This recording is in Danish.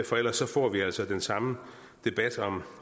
for ellers får vi altså den samme debat